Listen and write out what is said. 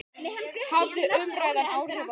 Hafði umræðan áhrif á hana?